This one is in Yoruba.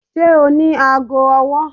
Ṣe o ni aago ọwọ?